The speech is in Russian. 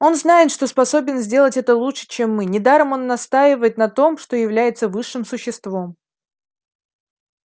он знает что способен сделать это лучше чем мы недаром он настаивает на том что является высшим существом